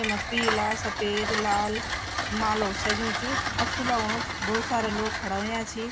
येमा पीला सफेद लाल मालोक सज्यु च अच्छू लगणु च भौत सारा लोग खडा हुया छि ।